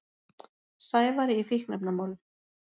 Sævari í fíkniefnamálum.